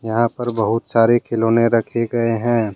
यहां पर बहुत सारे खिलौने रखे गए हैं।